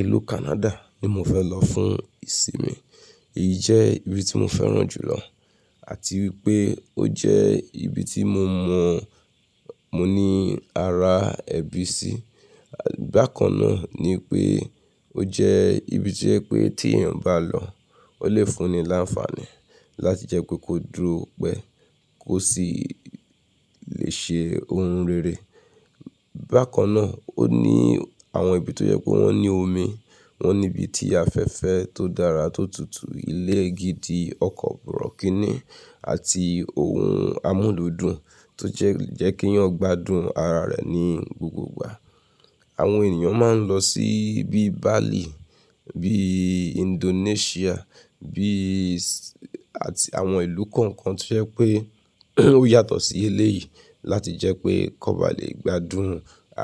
Ìlú Canada ni mo fẹ́ lọ fún ìsinmi. Èyí jẹ́ ibi tí mo fẹ́ràn jùlọ àti wípé ó jẹ́ ibi tí mo mọ̀ mọ ní ara ẹbí sí. Bákan náà ni pé ó jẹ́ ibi tí o jẹ pé tí èèyàn bá lọ ó lè fún ni láǹfààní láti jẹ́ pé kó dúró pẹ́ kó sì lè ṣe ohun rere. Bákan náà ó ní àwọn ibi tó jẹ́ pé wọ́n ní omi, wọ́n ní ibi tí afẹ́fẹ́ tó dára tó tutù, ilé gidi, ọkọ̀ borọ̀kínì àti ohun amúlúdùn tó jẹ́ kí èèyàn gbádùn ara rẹ̀ ní gbogbo ìgbà. Àwọn ènìyàn máa ń lọ sí ibi Bali bíi Indonesia, bíi s-- àti àwọn ìlú kọ̀ọ̀kan tí o jẹ pé ó yàtọ̀ sí éleyìí láti jẹ́ pé kò bá lè gbádùn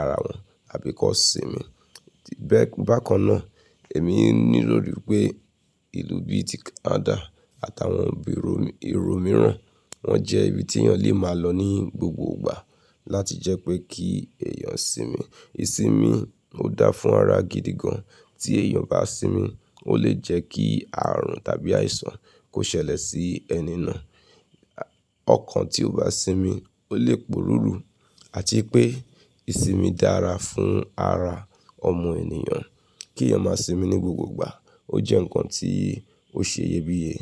ara wọn àbí kó sinmi. Bee bákan náà èmi ní rórí pé ìlú bíi ti Canada àtàwọn ìró mìíràn wọ́n jẹ́ ibi tí èèyàn lè máa lọ ní gbogbo ìgbà láti jẹ́ pé kí èèyàn sinmi. Ìsinmi ò dáa fún ara gidi gan. Tí èèyàn o bá sinmi ó lè jẹ́ kí àrùn tàbí àìsàn kó ṣẹlẹ̀ sí ẹni náà. Ọkàn tí ó bá sinmi ó lè poruru àti pé ìsinmi dára fún ara ọmọ ènìyàn. Kí èèyàn máa sinmi ní gbogbo ìgbà ó jẹ́ ǹkan tí ó ṣe iyebíye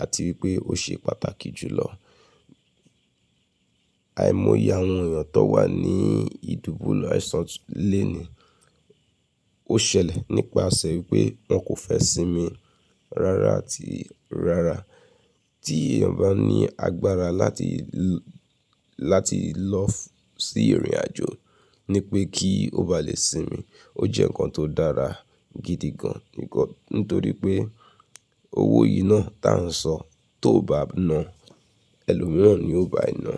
àti wípé ó ṣe pàtàkì jùlọ. Àìmọ́ iye àwọn èèyàn tan wà ní ìdúbùle aisán lèni ó ṣẹlẹ̀ nípasẹ̀ wípé wọ́n kò fẹ́ sinmi rárá àti rárá. Tí èèyàn bá ní agbára láti, láti lọ sí ìrìnàjò ni pé kí ó bá lè sinmi ó jẹ́ ǹkan tó dára gidi gan nítorí pé owó yìí náà tá ń sọ tó bá na ẹlòmíràn ni ó bá e na.